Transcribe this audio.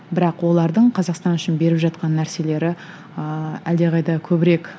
бірақ олардың қазақстан үшін беріп жатқан нәрселері ыыы әлдеқайда көбірек